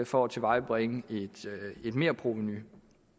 for at tilvejebringe et merprovenu